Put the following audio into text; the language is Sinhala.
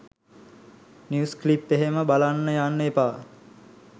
නිවුස් ක්ලිප් එහෙම බලන්න යන්න එපා.